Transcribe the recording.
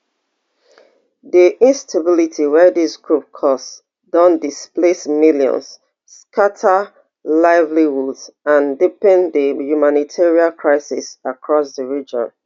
di instability wey dis groups cause don displace millions scata livelihoods and deepen di humanitarian crisis across di region